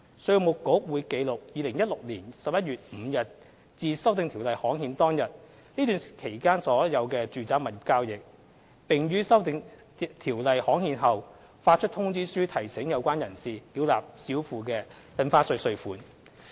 稅務局會記錄2016年11月5日至《2017年印花稅條例》刊憲當日這段期間的所有住宅物業交易，並於《修訂條例》刊憲後發出通知書提醒有關人士繳納少付的印花稅稅款。